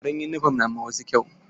Farin yunifom na ma wasu kyau.